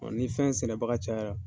Ni fɛn sɛnɛbaga cayara